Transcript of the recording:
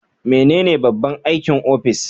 Menene babban aikin ofis?